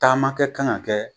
Taama kɛ kan ka kɛ